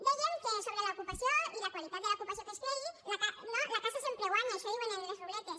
dèiem que sobre l’ocupació i la qualitat de l’ocupació que es creï la casa sempre guanya això diuen en les ruletes